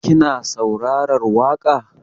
Kina saurarar waƙa?